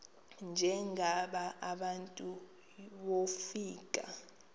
njengaba bantu wofika